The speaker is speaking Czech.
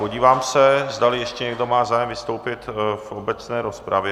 Podívám se, zdali ještě někdo má zájem vystoupit v obecné rozpravě.